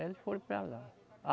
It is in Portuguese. Aí eles foram para lá.